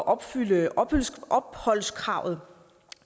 opfylde opholdskravet